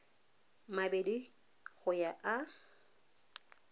mabedi go ya go a